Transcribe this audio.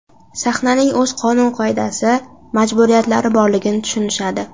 Sahnaning o‘z qonun-qoidasi, majburiyatlari borligini tushunishadi.